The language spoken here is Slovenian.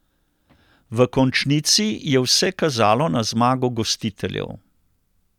V končnici je vse kazalo na zmago gostiteljev.